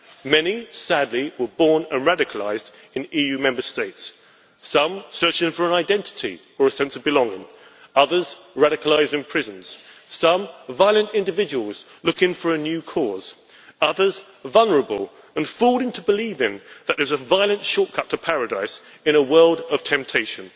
Many, sadly, were born and were radicalised in EU Member States some searching for an identity or a sense of belonging, others radicalised in prison some violent individuals looking for a new cause, others vulnerable and fooled into believing in a violent shortcut to paradise in a world of temptation.